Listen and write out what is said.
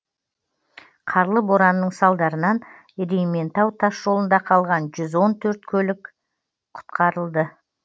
қарлы боранның салдарынан ерейментау тас жолында қалған жүз он төрт автокөлік құтқарылды